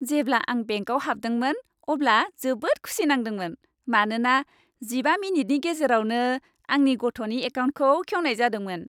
जेब्ला आं बेंकआव हाबदोंमोन, अब्ला जोबोद खुसि नांदोंमोन। मानोना जिबा मिनिटनि गेजेरावनो आंनि गथ'नि एकाउन्टखौ खेवनाय जादोंमोन।